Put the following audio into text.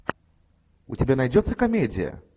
у тебя найдется комедия